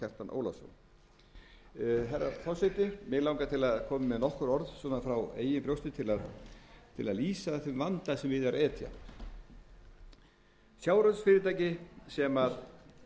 og kjartan ólafsson herra forseti mig langar til að koma með nokkur orð svona frá eigin brjósti til að lýsa þeim vanda sem við er að etja sjávarútvegsfyrirtæki sem veiðir